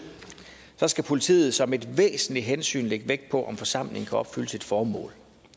skal politiet som et væsentligt hensyn lægge vægt på om forsamlingen kan opfylde sit formål